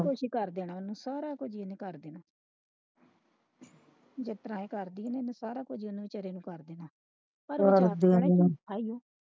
ਸਾਰਾ ਕੁਛ ਈ ਕਰਦੇ ਸਾਰਾ ਕੁਛ ਓਹਨੂੰ ਕਰ ਦੇਣਾ ਜਿਸਤਰਾਂ ਕਰਦੀ ਸੀ ਸਾਰਾ ਕੁਛ ਓਹਨੂੰ ਵਿਚਾਰੇ ਨੂੰ ਕਰਦੇਣਾ